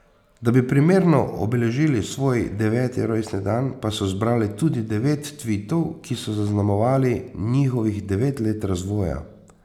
Da bi primerno obeležili svoj deveti rojstni dan, pa so zbrali tudi devet tvitov, ki so zaznamovali njihovih devet let razvoja.